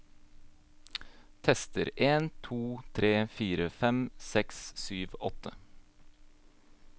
Tester en to tre fire fem seks sju åtte